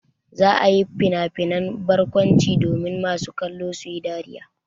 Za a yi finafinan barkwanci domin masu kallo su yi dariya.